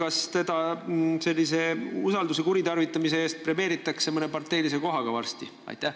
Kas teda premeeritakse sellise usalduse kuritarvitamise eest varsti mõne parteilise kohaga?